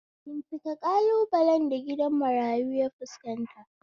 Bincika ƙalubalen da gidajen marayu ya fuskanta